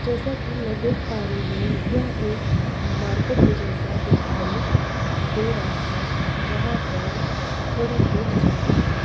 जैसा की मै देख पा रही हूँ यह एक मार्केट के जैसा दिखाई दे रहा है जहाँ पर थोड़ी भीड़ जमा है।